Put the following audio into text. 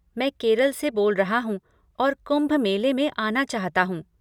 मैं केरल से बोल रहा हूँ और कुंभ मेले में आना चाहता हूँ।